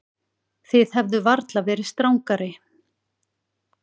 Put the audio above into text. Þið hefðuð varla verið strangari.